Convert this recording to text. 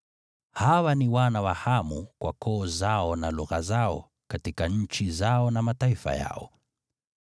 Hawa ni wana wa Hamu kwa koo zao na lugha zao, katika nchi zao na mataifa yao.